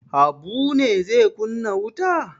Habu ne zai kunna wuta?